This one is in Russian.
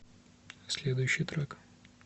следующий трек